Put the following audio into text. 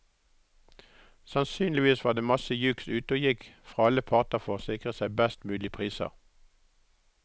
Sannsynligvis var det masse juks ute og gikk fra alle parter for å sikre seg best mulige priser.